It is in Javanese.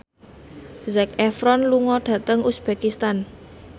Zac Efron lunga dhateng uzbekistan